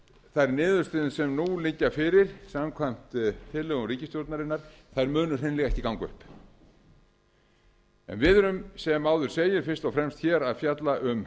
þær niðurstöður sem nú liggja fyrir samkvæmt tillögum ríkisstjórnarinnar muni hreinlega ekki ganga upp við erum sem áður segir fyrst og fremst hér að fjalla um